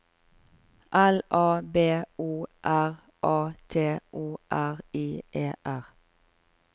L A B O R A T O R I E R